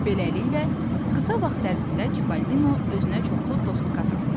Beləliklə, qısa vaxt ərzində Çipəlinon özünə çoxlu dost qazandı.